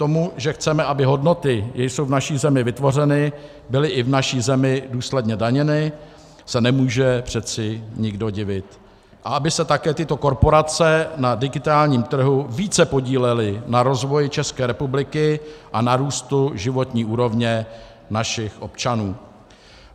Tomu, že chceme, aby hodnoty, jež jsou v naší zemi vytvořeny, byly i v naší zemi důsledně daněny, se nemůže přece nikdo divit, a aby se také tyto korporace na digitálním trhu více podílely na rozvoji České republiky a na růstu životní úrovně našich občanů.